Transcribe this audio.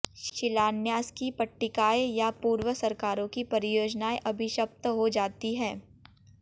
शिलान्यास की पट्टिकाएं या पूर्व सरकारों की परियोजनाएं अभिशप्त हो जाती हैं